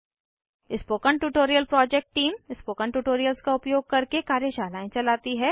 spoken tutorial project team spoken tutorials का उपयोग करके कार्यशालाएं चलाती है